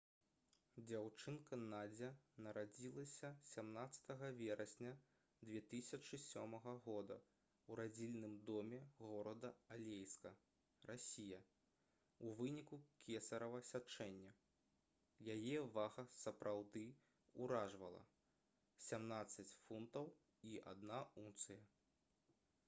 дзяўчынка надзя нарадзілася 17 верасня 2007 года ў радзільным доме горада алейска расія у выніку кесарава сячэння. яе вага сапраўды ўражвала — 17 фунтаў і 1 унцыя